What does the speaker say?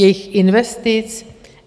Jejich investic?